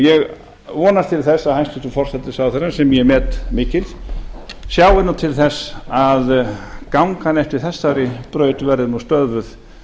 ég vonast til þess að hæstvirtur forsætisráðherra sem ég met mikils sjái nú til þess að ganga eftir þessari braut verði nú stöðvuð